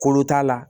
Kolo t'a la